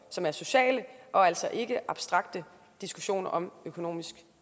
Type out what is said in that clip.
som er sociale og altså ikke abstrakte diskussioner om økonomisk